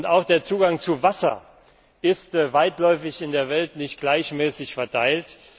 Auch der Zugang zu Wasser ist weitläufig in der Welt nicht gleichmäßig verteilt.